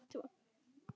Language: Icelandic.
Ég tók eftir því.